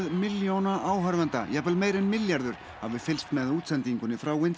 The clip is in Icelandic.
milljóna áhorfenda jafnvel meira en milljarður hafi fylgst með útsendingunni frá